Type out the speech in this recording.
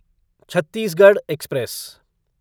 Chhattisgarh express